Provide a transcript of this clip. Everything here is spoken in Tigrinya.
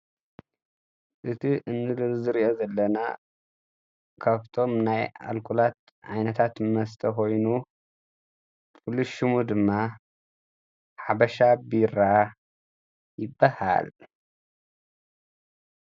እቲ እንሪኦ ዘለና ካብቶም ናይ ኣልኮላት ዓይነታት መስተ ኮይኑ ፍሉይ ሽሙ ድማ ሓበሻ ቢራ ይበሃል።